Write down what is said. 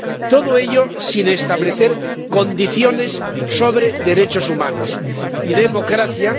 Todo ello sin establecer condiciones sobre derechos humanos y democracia